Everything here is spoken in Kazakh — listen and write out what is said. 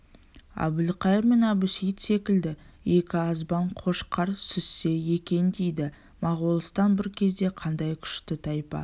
әбілқайыр мен әбусейіт секілді екі азбан қошқар сүзіссе екен дейді моғолстан бір кезде қандай күшті тайпа